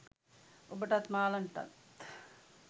ඔබටත් මාලන්ටත්